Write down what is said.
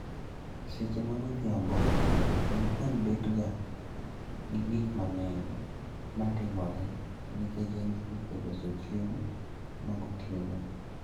Seche magodhiambo, jikon bet ga gi gik mang'eny matimore niketch en seche loso chiemo ma gotieno